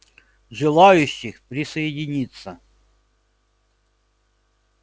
желающих присоединиться